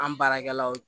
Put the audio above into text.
An baarakɛlaw